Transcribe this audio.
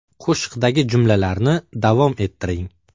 Qo‘shiqdagi jumlalarni davom ettiring.